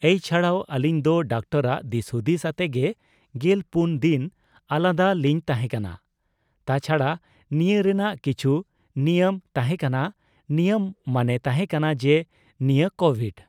ᱮᱭ ᱪᱷᱟᱲᱟᱣ ᱟᱹᱞᱤᱧ ᱫᱚ ᱰᱟᱠᱛᱟᱨᱟᱜ ᱫᱤᱥᱦᱩᱫᱤᱥ ᱟᱛᱮ ᱜᱮ ᱜᱮᱞ ᱯᱩᱱ ᱫᱤᱱ ᱟᱞᱟᱫᱟ ᱞᱤᱧ ᱛᱟᱦᱮᱸ ᱠᱟᱱᱟ ᱾ ᱛᱟᱪᱷᱟᱲᱟ ᱱᱤᱭᱟᱹ ᱨᱮᱱᱟᱜ ᱠᱤᱪᱷᱩ ᱱᱤᱟᱹᱢ ᱛᱟᱦᱮᱸ ᱠᱟᱱᱟ ᱱᱤᱭᱟᱹᱢ ᱢᱟᱱᱮ ᱛᱟᱸᱦᱮ ᱠᱟᱱᱟ ᱡᱮ ᱱᱤᱭᱟᱹ ᱠᱚᱵᱷᱤᱰ